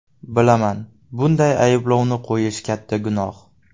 Bilaman, bunday ayblovni qo‘yish katta gunoh.